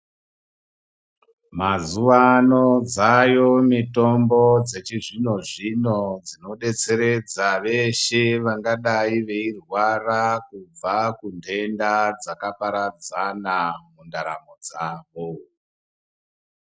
Mazuvano dzaayo mitombo dzechizvino-zvino dzinodetseredza veshe vangadai veirwara kubva kundenda dzakaparadzana mundaramo dzavo.